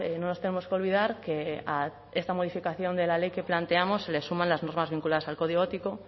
no nos tenemos que olvidar que a esta modificación de la ley que planteamos se les suman las normas vinculadas al código ético